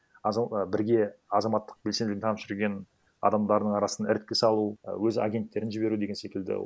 бірге азаматтық белсенділігін танып жүрген адамдардың арасына іріткі салу і өз агенттерін жіберу деген секілді